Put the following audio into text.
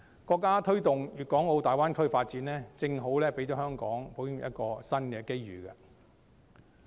國家推動大灣區發展，正好讓香港保險業有一個新機遇。